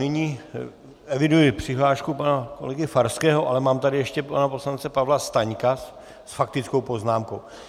Nyní eviduji přihlášku pana kolegy Farského, ale mám tady ještě pana poslance Pavla Staňka s faktickou poznámkou.